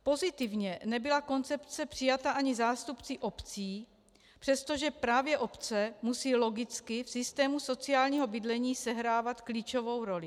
Pozitivně nebyla koncepce přijata ani zástupci obcí, přestože právě obce musí logicky v systému sociálního bydlení sehrávat klíčovou roli.